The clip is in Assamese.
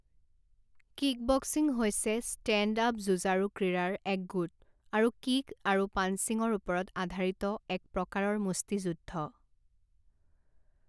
কিকবক্সিং হৈছে ষ্টেণ্ড আপ যুঁজাৰু ক্ৰীড়াৰ এক গোট আৰু কিক আৰু পাঞ্চিংৰ ওপৰত আধাৰিত এক প্ৰকাৰৰ মুষ্টিযুদ্ধ।